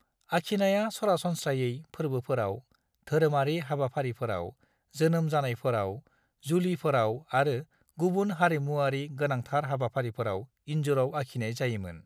आखिनाया सरासनस्रायै फोर्बोफोराव, धोरिमारि हाबाफारिफोराव, जोनोम जानायफोराव, जुलिफोराव आरो गुबुन हारिमुवारि गोनांथार हाबाफारिफोराव इन्जुराव आखिनाय जायोमोन।